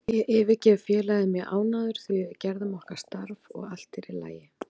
Ég yfirgef félagið mjög ánægður því við gerðum okkar starf og allt er í lagi.